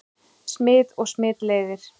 Smit og smitleiðir